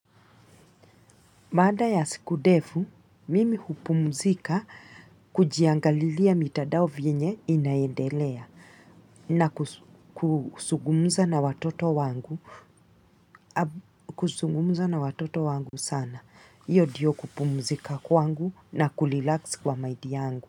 Mada ya siku devu, mimi hupumzika kujiangalilia mitadao vienye inaendelea na kusugumza na watoto wangu sana. Iyo diyo kupumzika kwangu na kulilax kwa maidi yangu.